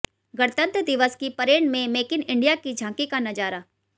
गणतंत्र दिवस की परेड में मेक इन इंडिया की झांकी का नजारा